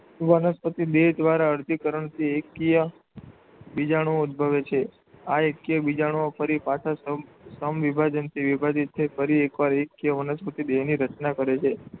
વનસ્પતિ દેહ દ્વારા અર્ધીકરણથી એકકીય બીજાણુઓ ઉદ્ભવે છે. આ એકકીય બીજાણુઓ, ફરી પાછા સમ સમવિભાજનથી વિભાજિત થઈ ફરી એકવાર એકકીય વનસ્પતિ દેહની રચના કરે છે.